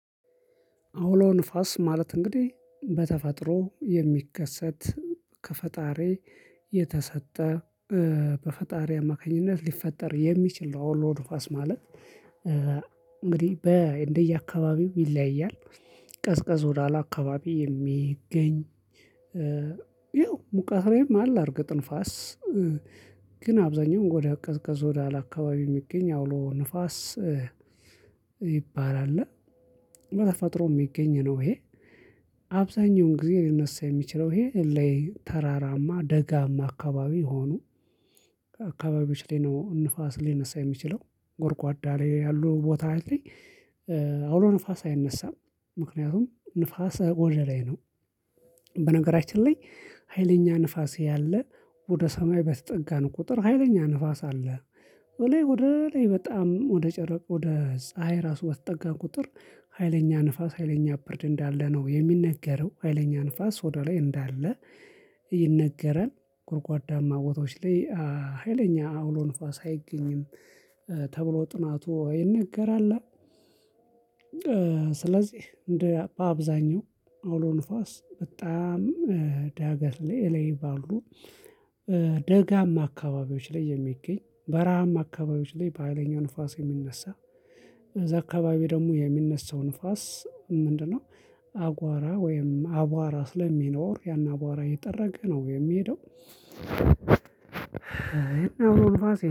አውሎ ንፋስ ማለት እንግዲህ በተፈጥሮ የሚከሰት ከፈጣሪ የተሰጠ በፈጣሪ አማካኝነት ሊፈጠር የሚችል አውሎ ንፋስ ማለት በእንደየአካባቢው ይለያያል። ቀዝቀዝ ወዳለ አከባቢ የሚገኝ ይኸው ሙቀት ላይም አለ አርገጥ ንፋስ ግን አብዛኛውን ወዳ ቀዝቀዝ ወዳ አላካባቢ የሚገኝ አውሎ ንፋስ ሚባል አለ በተፈጥሮ የሚገኝ ነው ይሄ። አብዛኛውን ጊዜ ሊነሳ የሚችለው ይሄ ለተራራማ ደጋማ አከባቢ ሆኖ ከአካባቢዎች ላይ ነው ንፋስ ሊነሳ የሚችለው ጎርጓዳ ላይ ያሉ ቦታ ላይ አውሎ ንፋስ አይነሳም ምክንያቱም ንፋስ ወደ ላይ ነው። በነገራችን ላይ ሀይለኛ ንፋስ ያለ ወደ ሰማይ በተጠጋን ቁጥር ሀይለኛ ንፋስ አለ። ወደ ላይ በጣም ወደ ጨረቅ ወደ ፀሀይ ራሱ በተጠጋን ቁጥር ሀይለኛ ንፋስ ሀይለኛ ብርድ እንዳለ ነው የሚነገረው ሀይለኛ ንፋስ ወደ ላይ እንዳለ ይነገራል። ጉድጓዳማ ቦታዎች ላይ ሀይለኛ አውሎ ንፋስ አይገኝም ተብሎ ጥናቱ ይነገራል። ስለዚህ እንደ በአብዛኛው አውሎ ንፋስ በጣም ዳገት ላይ እለይ ባሉ ደጋማ አከባቢዎች ላይ የሚገኝ በረሃም አከባቢዎች ላይ በሃይለኛው ንፋስ የሚነሳ እዛ አከባቢ ደግሞ የሚነሳው ንፋስ ምንድነው አጓራ ወይም አቧራ ስለሚኖር ያን አቧራ አየጠረገ ነው የሚሄደው